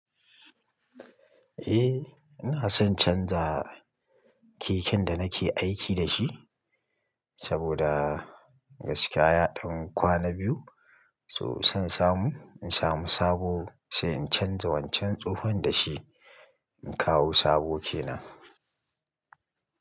Eh ina son canjawa keken da nake aiki da shi saboda gaskiya ya ɗan kwana biyu so san samu in samu sabo sai in canza wancan tsohon da shi in kawo sabo kenan.